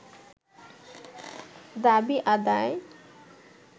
দাবি আদায়